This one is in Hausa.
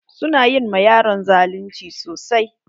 Su na yi ma yaron zalunci sosai.